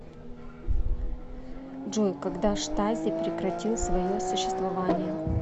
джой когда штази прекратил свое существование